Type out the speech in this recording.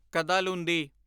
Kadalundi